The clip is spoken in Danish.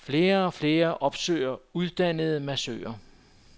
Flere og flere opsøger uddannede massører.